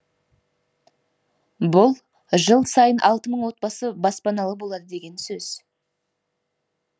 бұл жыл сайын алты мың отбасы баспаналы болады деген сөз